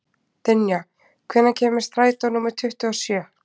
Dynja, hvenær kemur strætó númer tuttugu og sjö?